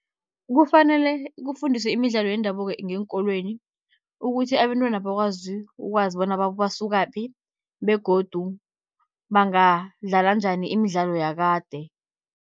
Kufanele kufundiswe imidlalo yendabuko ngeenkolweni, ukuthi abentwana bakwazi ukwazi bona basukaphi begodu bangadlala njani imidlalo yakade.